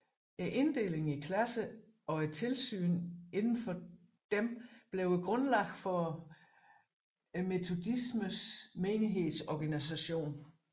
Inddelingen i klasser og tilsynet inden for disse blev grundlaget for metodismens menighedsorganisation